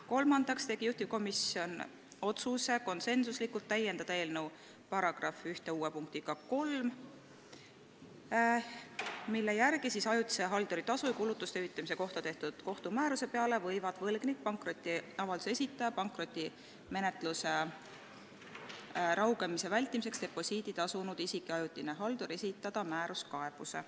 " Kolmandaks tegi juhtivkomisjon konsensusliku otsuse täiendada eelnõu § 1 uue punktiga 3, mille järgi ajutise halduri tasu ja kulutuste hüvitamise kohta tehtud kohtumääruse peale võivad võlgnik, pankrotiavalduse esitaja, pankrotimenetluse raugemise vältimiseks deposiidi tasunud isik ja ajutine haldur esitada määruskaebuse.